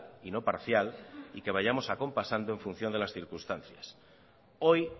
y no parcial y que vayamos acompasando en función de las circunstancias hoy